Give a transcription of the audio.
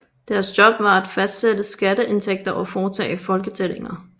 Deres job var at fastsætte skatteindtægter og foretage folketællinger